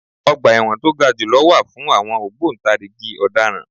Ọgbà ẹ̀wọ̀n to ga jù lọ wà fún àwọn ògbòǹtarìgì Ọ̀daràn.